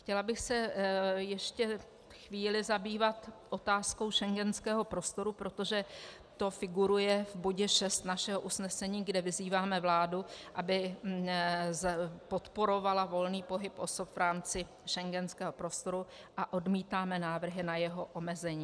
Chtěla bych se ještě chvíli zabývat otázkou schengenského prostoru, protože to figuruje v bodě 6 našeho usnesení, kde vyzýváme vládu, aby podporovala volný pohyb osob v rámci schengenského prostoru, a odmítáme návrhy na jeho omezení.